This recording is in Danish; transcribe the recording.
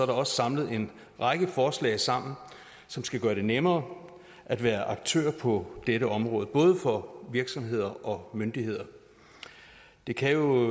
også samlet en række forslag sammen som skal gøre det nemmere at være aktør på dette område både for virksomheder og myndigheder det kan jo